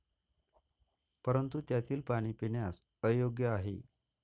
परंतु त्यातील पाणी पिण्यास अयोग्य आहे.